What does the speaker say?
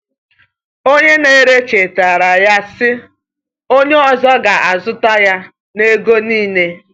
Onye na-ere chetaara ya, sị: “Onye ọzọ ga-azụta ya n’ego niile.”